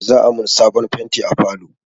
Za'a mun sabon fenti a falo.